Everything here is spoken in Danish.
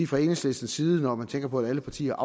fra enhedslisten side når man tænker på at alle partier